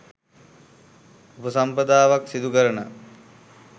උපසම්පදාවක් සිදු කරන